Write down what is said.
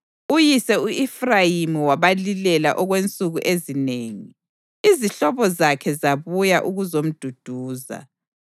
Uyise u-Efrayimi wabalilela okwensuku ezinengi, izihlobo zakhe zabuya ukuzomduduza.